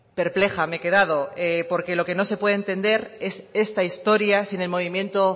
perpleja me he quedado porque lo que no se puede entender es esta historia sin el movimiento